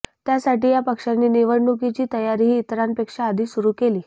त्यासाठी या पक्षाने निवडणुकीची तयारीही इतरांपेक्षा आधी सुरू केली